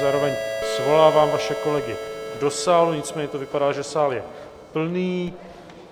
Zároveň svolávám vaše kolegy do sálu, nicméně to vypadá, že sál je plný.